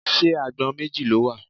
Ṣé agbọ̀n méjì ló wà?